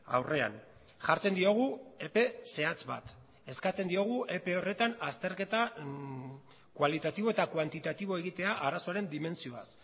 aurrean jartzen diogu epe zehatz bat eskatzen diogu epe horretan azterketa kualitatibo eta kuantitatibo egitea arazoaren dimentsioaz